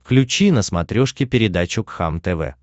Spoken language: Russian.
включи на смотрешке передачу кхлм тв